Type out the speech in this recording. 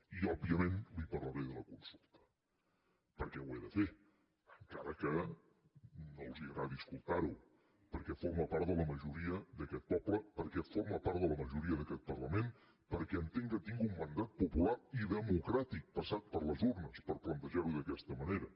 i òbviament li parlaré de la consulta perquè ho he de fer encara que no els agradi escoltar ho perquè forma part de la majoria d’aquest poble perquè forma part de la majoria d’aquest parlament perquè entenc que tinc un mandat popular i democràtic passat per les urnes per plantejar ho d’aquesta manera